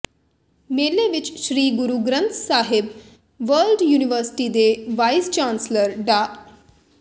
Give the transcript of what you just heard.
ਮੇਲੇ ਵਿੱਚ Sri Guru Granth Sahib World University ਦੇ ਵਾਈਸ ਚਾਂਸਲਰ ਡਾ